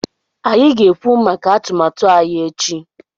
Anyị ga-ekwu maka atụmatụ anyị echi